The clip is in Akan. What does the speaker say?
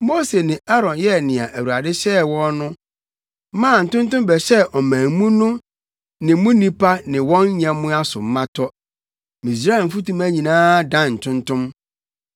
Mose ne Aaron yɛɛ nea Awurade hyɛɛ wɔn no maa ntontom bɛhyɛɛ ɔman mu no ne mu nnipa ne wɔn nyɛmmoa so ma tɔ. Misraim mfutuma nyinaa dan ntontom.